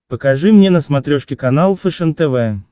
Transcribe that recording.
покажи мне на смотрешке канал фэшен тв